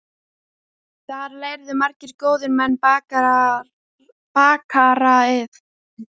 Þar lærðu margir góðir menn bakaraiðn.